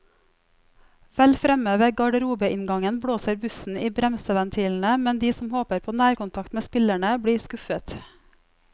Vel fremme ved garderobeinngangen blåser bussen i bremseventilene, men de som håper på nærkontakt med spillerne, blir skuffet.